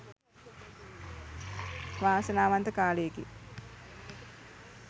වාසනාවන්ත කාලයකි